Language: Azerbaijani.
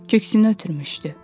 Köksünü ötürmüşdü.